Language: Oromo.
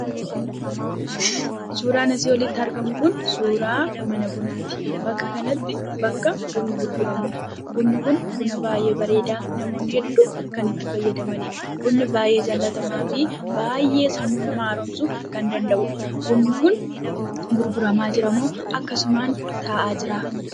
Suuraan asii olitti argamu kun suuraa mana bunaati. Bakka kanatti bakka bunni gurguramudha. Bunni kun buna baay'ee bareedaa namoonni hedduun kan itti fayyadamanidha. Bunni baayyee jaallatamaafi baayyee sammuu namaa haaromsuu kan danda'udha. Bunni kun gurguramaa jiramoo akkasumaan taa'aa jiraa?